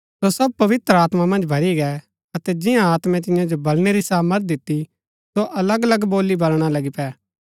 सो सब पवित्र आत्मा मन्ज भरी गै अतै जिंआं आत्मै तियां जो बलनै री सामर्थ दिती सो अलग अलग बोली बलणा लगी पै